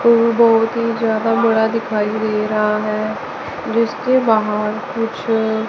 वो बहुत ही ज्यादा बड़ा दिखाई दे रहा हैं जिसके बाहर कुछ--